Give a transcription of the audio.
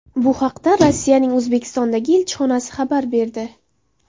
Bu haqda Rossiyaning O‘zbekistondagi elchixonasi xabar berdi .